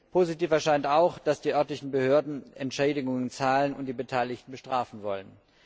Positiv erscheint auch, dass die örtlichen Behörden Entschädigungen zahlen und die Beteiligten bestrafen wollen.